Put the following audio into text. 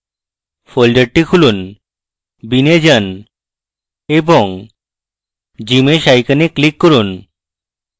folder খুলুন bin এ যান এবং gmsh icon click করুন